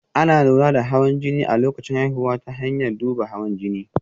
Ana lura da hawan jini a lokacin haihuwa ta hanyar duban hawan jini